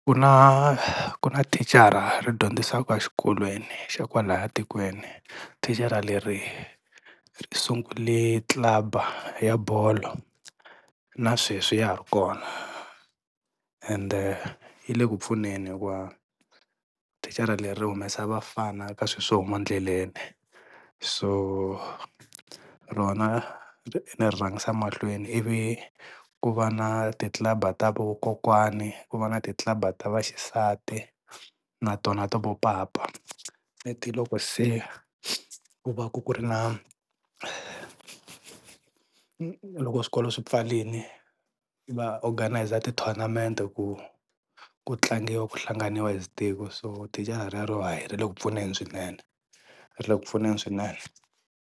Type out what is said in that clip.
Ku na ku na thicara ri dyondzisaka xikolweni xa kwalaha tikweni, thicara leri ri sungule club-a ya bolo na sweswi ya ha ri kona ende yi le ku pfuneni hikuva thicara leri ri humesa vafana ka swi swo huma ndleleni so rona ni ri rhangisa mahlweni i vi ku va na ti club-a ta vakokwani ku va na ti club-a ta vaxisati na tona ta vo papa leti loko se ku va ka ku ri na loko swikolo swi pfalini va organise ti-tournament ku ku tlangiwa ku hlanganiwa as tiko so tichara rero hayi ri le ku pfuneni swinene ri le ku pfuneni swinene.